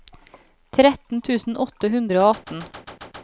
tretten tusen åtte hundre og atten